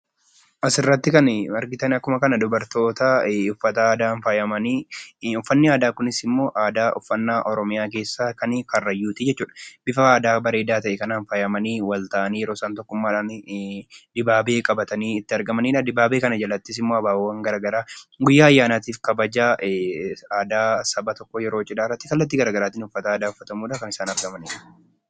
Asirratti kan argitan dubartoota uffata aadaan faayamani. Uffanni aadaa kunis ammoo aadaa uffannaa Oromiyaa keessaa kan Karrayyuuti jechuudha. Bifa aadaa bareedaa ta'e kanaan kan faayamanii, walta'anii yeroo isaan tokkummaadhaan dibaabee qabatanii argamanidha. Dibaabee kana jalattis ammoo abaaboowwan gara garaa guyyaa ayyaanaatiif kabaja aadaa saba tokkoo yeroo cidhaa irratti kallattii gara garaatin uffata aadaa uffachuudhan kan isaan argamanidha.